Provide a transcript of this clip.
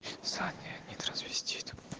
саня не трансвестит